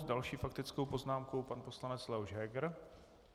S další faktickou poznámkou pan poslanec Leoš Heger.